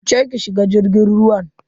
Wuce ki shiga jirgin ruwan.